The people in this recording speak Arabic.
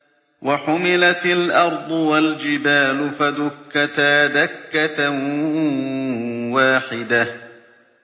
وَحُمِلَتِ الْأَرْضُ وَالْجِبَالُ فَدُكَّتَا دَكَّةً وَاحِدَةً